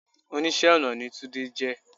Oníṣẹ́ ọ̀nà ni túndé jẹ.